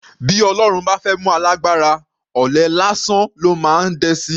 Bí Ọlọ́run bá fẹ́ mú alágbára, ọ̀lẹ lásán ló máa dẹ sí i.